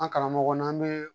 An karamɔgɔ n'an bɛ